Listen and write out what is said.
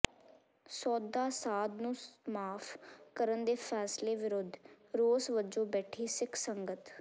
ਸੌਦਾ ਸਾਧ ਨੂੰ ਮਾਫ ਕਰਨ ਦੇ ਫੈਸਲੇ ਵਿਰੁੱਧ ਰੋਸ ਵਜੋਂ ਬੈਠੀ ਸਿੱਖ ਸੰਗਤ